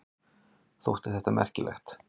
Þótti þetta merkilegt.